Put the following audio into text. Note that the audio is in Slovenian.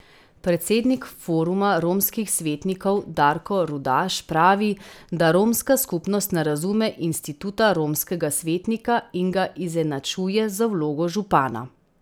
Predsednik Foruma romskih svetnikov Darko Rudaš pravi, da romska skupnost ne razume instituta romskega svetnika in ga izenačuje z vlogo župana.